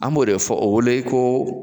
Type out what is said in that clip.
An b'o de fɔ o wele ko